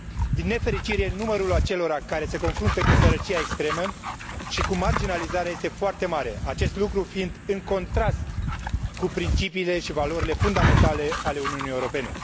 Din nefericire, numărul acelora care se confruntă cu sărăcia extremă și cu marginalizarea este foarte mare, acest lucru fiind în contrast cu principiile și valorile fundamentale ale Uniunii Europene.